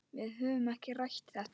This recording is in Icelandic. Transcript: Við höfum ekki rætt þetta.